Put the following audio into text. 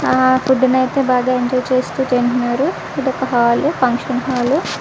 ఆ పోదున అయతె బాగా ఎంజాయ్ చేస్తు తింటున్నారు. ఇది ఒక హాల్ ఫంక్షన్ హాల్ .